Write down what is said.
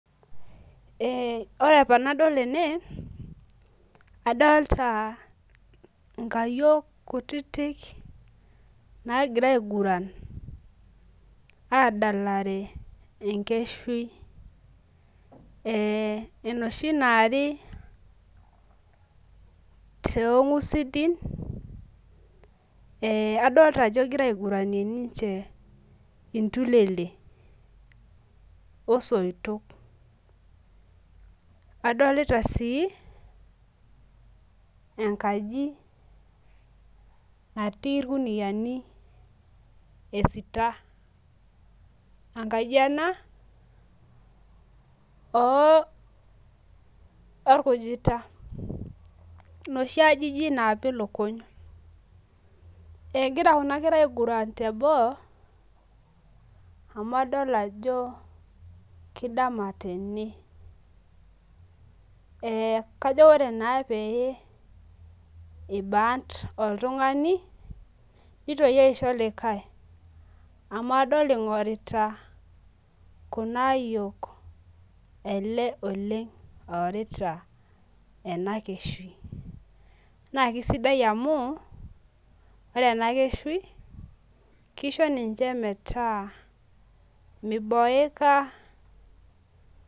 Eh ore tenadol ene adolita inkayiok kutiti nagira ainguran adalaare enkeshui eh enoshi naare toongusidin adolita ajo egira ainguranie ninye iltulele osoitoa adolita sii enkaji natii irkuniani esita enkaji ena oo orkujita noshi ajijik napiki lukuny egira Kuna nkera ainguran teboo amu adol ajo kidama tene kajo ore naa pee eibant oltungani nitoki aisho likae amu adol ajo ingorita kuna ayiok ele oleng oorita ena keshui naa kisidai amu ore ena keshui kisho ninche metaa miboeka.